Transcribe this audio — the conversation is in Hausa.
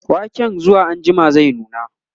waken zuwa anjima zai nuna